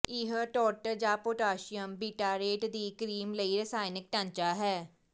ਇਹ ਟਾਰਟਰ ਜਾਂ potassium bitartrate ਦੀ ਕਰੀਮ ਲਈ ਰਸਾਇਣਕ ਢਾਂਚਾ ਹੈ